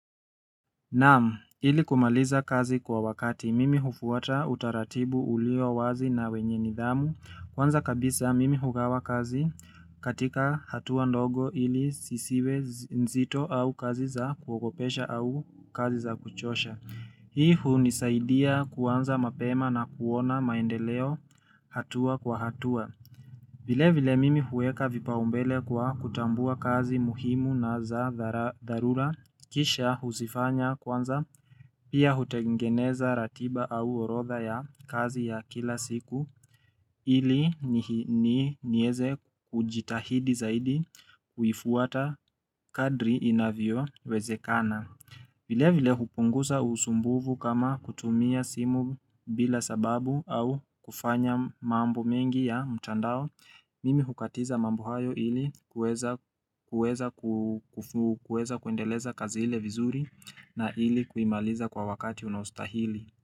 Naam, ili kumaliza kazi kwa wakati, mimi hufuata utaratibu ulio wazi na wenye nidhamu, kwanza kabisa mimi hugawa kazi katika hatua ndogo ili sisiwe nzito au kazi za kuogopesha au kazi za kuchosha. Hii hunisaidia kuanza mapema na kuona maendeleo hatua kwa hatua. Vile vile mimi huweka vipaumbele kwa kutambua kazi muhimu na za dharura kisha huzifanya kwanza pia hutengeneza ratiba au orotha ya kazi ya kila siku ili ni nieze kujitahidi zaidi kuifuata kadri inavyo wezekana. Vile vile hupunguza usumbuvu kama kutumia simu bila sababu au kufanya mambo mengi ya mtandao, mimi hukatiza mambo hayo ili kuweza kuendeleza kazi ile vizuri na ili kuimaliza kwa wakati unaostahili.